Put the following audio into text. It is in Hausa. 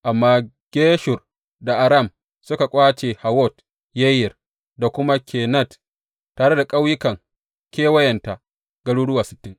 Amma Geshur da Aram suka ƙwace Hawwot Yayir da kuma Kenat tare da ƙauyukan kewayenta, garuruwa sittin.